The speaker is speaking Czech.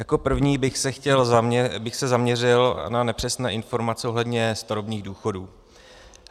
Jako první bych se zaměřil na nepřesné informace ohledně starobních důchodů.